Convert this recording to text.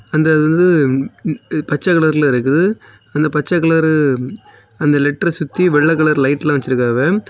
பச்சை கலர்ல இருக்குது அந்த பச்சை கலரு அந்த லெட்டரெ சுத்தி வெள்ளை கலர் லைட்டெல்லா வச்சிருக்காவெ.